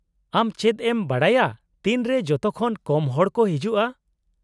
-ᱟᱢ ᱪᱮᱫ ᱮᱢ ᱵᱟᱰᱟᱭᱟ ᱛᱤᱱᱨᱮ ᱡᱚᱛᱚᱠᱷᱚᱱ ᱠᱚᱢ ᱦᱚᱲ ᱠᱚ ᱦᱤᱡᱩᱜᱼᱟ ?